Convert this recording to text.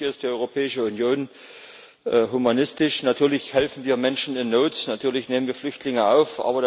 Natürlich ist die Europäische Union humanistisch, natürlich helfen wir Menschen in Not, natürlich nehmen wir Flüchtlinge auf.